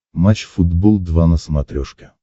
матч футбол два на смотрешке